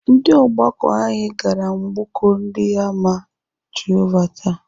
Ndị ọgbakọ anyị gara mgbọkọ ndị àmà Jehovah taa.